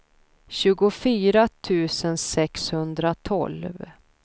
tjugofyra tusen sexhundratolv